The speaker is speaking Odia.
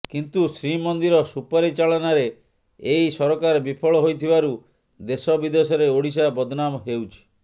କିନ୍ତୁ ଶ୍ରୀମନ୍ଦିର ସୁପରିଚାଳନାରେ ଏହି ସରକାର ବିଫଳ ହୋଇଥିବାରୁ ଦେଶ ବିଦେଶରେ ଓଡ଼ିଶା ବଦନାମ ହେଉଛି